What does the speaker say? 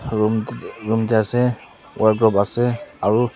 roomti room teh ase aro wardrobe ase aro.